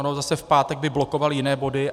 Ono zase v pátek by blokoval jiné body.